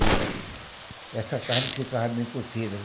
E essa carne ficava bem curtida.